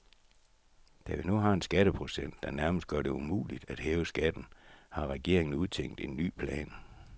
Da vi nu har en skatteprocent, der nærmest gør det umuligt at hæve skatten, har regeringen udtænkt en ny plan.